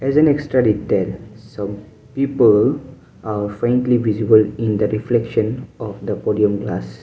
there is an extra detail so people are frankly visible in the reflection of the podium glass.